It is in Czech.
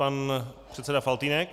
Pan předseda Faltýnek.